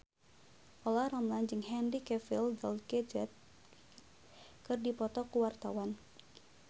Olla Ramlan jeung Henry Cavill Gal Gadot keur dipoto ku wartawan